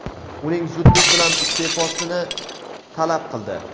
uning zudlik bilan iste’fosini talab qildi.